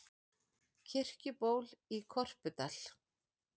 Kirkjuból í Korpudal.